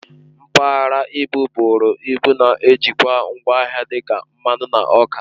Mpaghara ibu bụrụ ịbụ na-ejikwa ngwa ahịa dị ka mmanụ na ọka